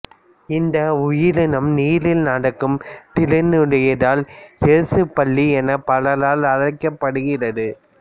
இந்த உயிரினம் நீரில் நடக்கும் திறனுடையதால் இயேசுப் பல்லி எனப் பலரால் அழைக்கப்படுகிறது